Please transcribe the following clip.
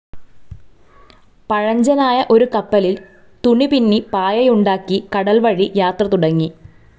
പഴഞ്ചനായ ഒരു കപ്പലിൽ തുണിപിന്നി പായയുണ്ടാക്കി കടൽവഴി യാത്ര തുടങ്ങി.